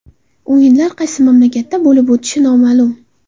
O‘yinlar qaysi mamlakatda bo‘lib o‘tishi noma’lum.